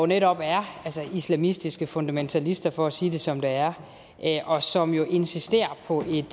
netop er islamistiske fundamentalister for at sige det som det er og som insisterer på et